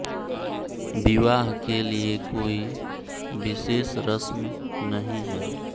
विवाह के लिए कोई विशेष रस्म नहीं है